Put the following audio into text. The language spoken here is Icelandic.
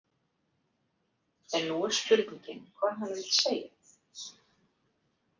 En nú er spurningin hvað hann vill segja.